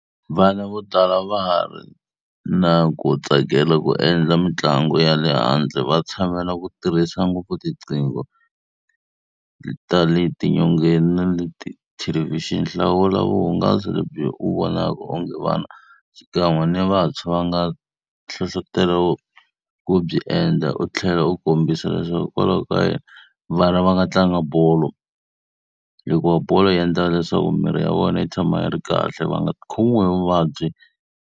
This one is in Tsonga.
Vana vo tala a va ha ri na ku tsakela ku endla mitlangu ya le handle. Va tshamela ku tirhisa ngopfu tinqingo ta le ti nyongeni na le ta ti thelevhixini. Hlawula vuhungasi lebyi u vonaka onge vana xikan'we ni vantshwa va nga va na nhlohletelo wo byi endla u tlhela ku kombisa leswaku hikokwalaho ka yini. Vana va nga tlanga bolo. Hikuva bolo yi endlaka leswaku mirhi ya vona yi tshama yi ri kahle va nga khomiwi hi vuvabyi.